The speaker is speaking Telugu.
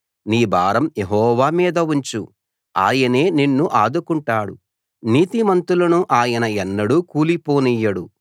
నీ భారం యెహోవా మీద ఉంచు ఆయనే నిన్ను ఆదుకుంటాడు నీతిమంతులను ఆయన ఎన్నడూ కూలిపోనియ్యదు